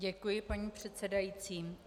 Děkuji, paní předsedající.